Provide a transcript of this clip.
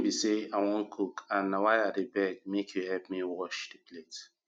the thing be say i wan cook and na why i dey beg make you help me wash the plate